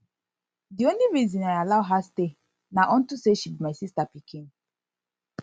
the only reason i allow her stay na unto say she be my sister pikin